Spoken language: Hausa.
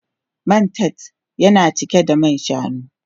Man tart yana cike da man shanu.